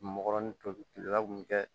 Mgɔrɔnin tolilela mun bɛ kɛ